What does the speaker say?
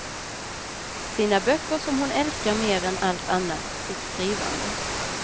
Sina böcker som hon älskar mer än allt annat, sitt skrivande.